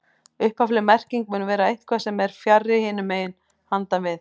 Upphafleg merking mun vera eitthvað sem er fjarri, hinum megin, handan við